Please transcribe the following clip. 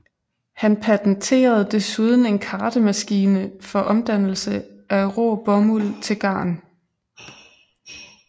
Han patenterede desuden en kartemaskine for omdannelse af rå bomuld til garn